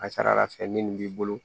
A ka ca ala fɛ minnu b'i bolo